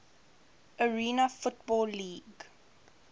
arena football league